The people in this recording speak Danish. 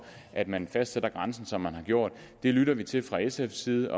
at man fastsætter grænsen som man har gjort det lytter vi til fra sfs side